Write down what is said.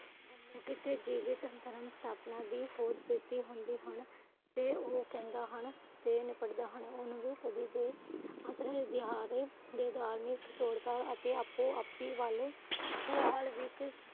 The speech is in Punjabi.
ਕਿਸੇ ਜੀਵਿਤ ਧਰਮ ਸਥਾਪਨਾ ਦੀ ਤੇ ਓ ਕਹਿੰਦਾ ਹਨ ਓਹਨੂੰ ਵੀ ਧਾਰਮਿਕ ਸਤ੍ਰੋਤਾਂ ਅਤੇ ਆਪੋ ਆਪਿ ਵਲ